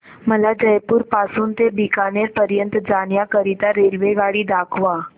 मला जयपुर पासून ते बीकानेर पर्यंत जाण्या करीता रेल्वेगाडी दाखवा